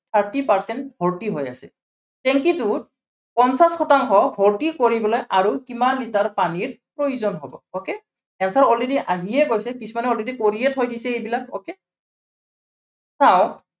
thirty percent ভৰ্তি হৈ আছে। tank টোত পঞ্চাশ শতাংশ ভৰ্তি কৰিবলৈ আৰু কিমান লিটাৰ পানীৰ প্ৰয়োজন হ'ব? okay, answer already আহিয়েই গৈছে। কিছুমানে already কৰিয়েই থৈ দিছে এইবিলাক okay চাওক